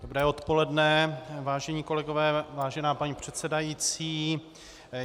Dobré odpoledne, vážení kolegové, vážená paní předsedající.